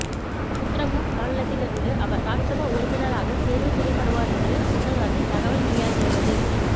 உத்தரகாண்ட் மாநிலத்தில் இருந்து அவர் ராஜ்சபா உறுப்பினராக தேர்வு செய்யப்படுவார் என்று முன்னதாக தகவல் வெளியாகியிருந்தது